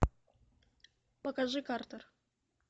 покажи картер